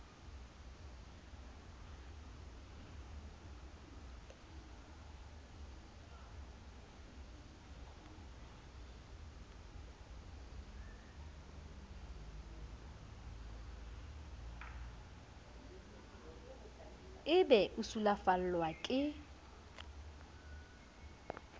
o be o sulafallwa ke